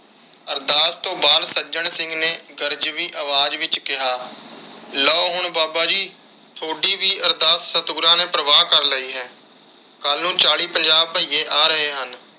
ਅਰਦਾਸ ਤੋਂ ਬਾਅਦ ਸੱਜਣ ਸਿੰਘ ਨੇ ਗਰਜਵੀ ਅਵਾਜ ਵਿਚ ਕਿਹਾ ਲੋ ਹੁਣ ਬਾਬਾ ਜੀ ਤੁਹਾਡੀ ਵੀ ਅਰਦਾਸ ਸਤਿਗੁਰਾਂ ਨੇ ਪ੍ਰਵਾਨ ਕਰ ਲਈ ਹੈ। ਕੱਲ ਨੂੰ ਚਾਲੀ ਪੰਜਾਹ ਬੱਇਏ ਆ ਰਹੇ।